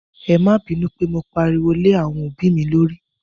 É ma binu pe mo pariwo lé àwọn òbí mi lórí.